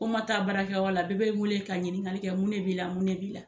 Ko n ma taa bara kɛ yɔrɔ la , bɛɛ be n wele ka ɲininkali kɛ mun de b'i la mun de b'i la?